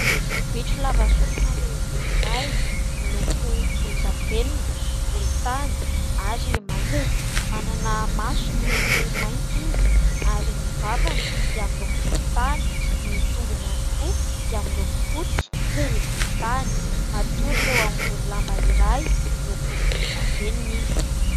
Bitro lava sofina lehibe iray, miloko volondavenona, volontany ary mainty ; manana maso miloko mainty izy ary ny vavany dia miloko volontany ; ny tongony ihany koa dia miloko fotsy sy volontany ; matory eo ambony lamba iray miloko volondavenona izy.